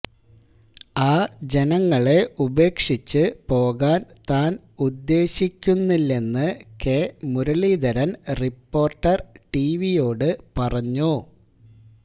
ആ ജനങ്ങളെ ഉപേക്ഷിച്ച് പോകാന് താന് ഉദ്ദേശിക്കുന്നില്ലെന്ന് കെ മുരളീധരന് റിപ്പോര്ട്ടര് ടിവിയോട് പറഞ്ഞു